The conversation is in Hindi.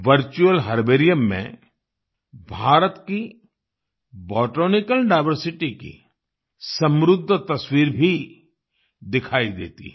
वर्चुअल हर्बेरियम में भारत की बोटेनिकल डाइवर्सिटी की समृद्ध तस्वीर भी दिखाई देती है